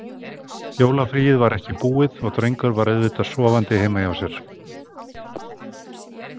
Jólafríið var ekki búið og drengurinn var auðvitað sofandi heima hjá sér.